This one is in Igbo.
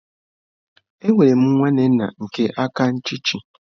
Enwere m nwanne nna nke aka nchichi.